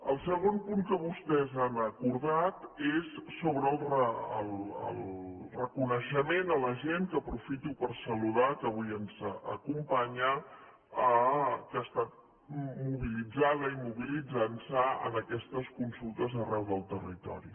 el segon punt que vostès han acordat és sobre el reconeixement a la gent que aprofito per saludar que avui ens acompanya que ha estat mobilitzada i mobilitzant se en aquestes consultes arreu del territori